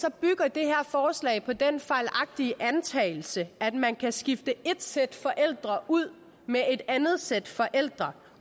det her forslag på den fejlagtige antagelse at man kan skifte et sæt forældre ud med et andet sæt forældre